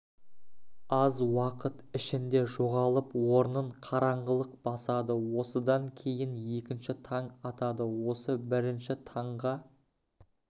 аз уақыт ішінде жоғалып орнын қараңғылық басады осыдан кейін екінші таң атады осы бірінші таңға